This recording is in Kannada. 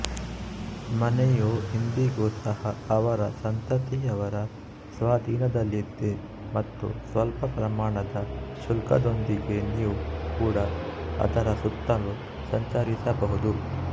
ಮನೆಯು ಇಂದಿಗೂ ಸಹ ಅವರ ಸಂತತಿಯವರ ಸ್ವಾಧೀನದಲ್ಲಿದೆ ಮತ್ತು ಸ್ವಲ್ಪ ಪ್ರಮಾಣದ ಶುಲ್ಕದೊಂದಿಗೆ ನೀವು ಕೂಡ ಅದರ ಸುತ್ತಲೂ ಸಂಚರಿಸಬಹುದು